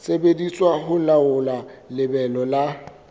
sebediswa ho laola lebelo la